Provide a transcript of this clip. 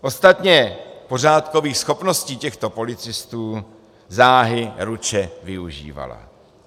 Ostatně pořádkových schopností těchto policistů záhy ruče využívala.